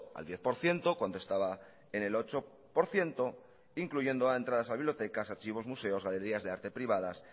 al diez por ciento cuando estaba en el ocho por ciento incluyendo a entradas a bibliotecas archivos museos galerías de arte privadas